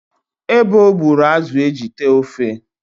Ebo gbụrụ azụ e ji tee ofe